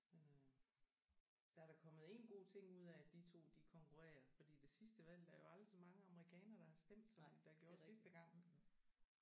Men øh der er da kommet én god ting ud af at de 2 de konkurrerer fordi det sidste valg der er jo aldrig så mange amerikanere der har stemt som der gjorde sidste gang